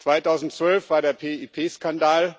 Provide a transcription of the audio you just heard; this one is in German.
2012 war der PIP-Skandal,